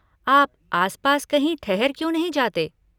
आप आसपास कहीं ठहर क्यों नहीं जाते?